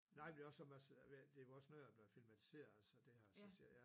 Nej men det også sådan man det jo også noget man filmatiserer og så det er så ja